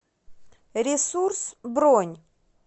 ресурс бронь